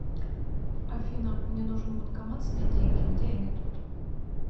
афина мне нужен банкомат снять деньги где они тут